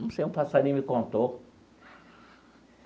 Não sei, um passarinho me contou.